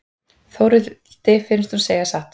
Þórhildi finnst hún segja satt.